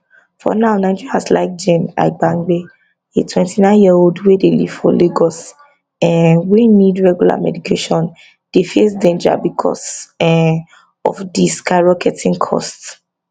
for now nigerians like jane aibangbe a twenty nine yearold wey dey live for lagos um wey need regular medication dey face danger becos um of di skyrocketing costs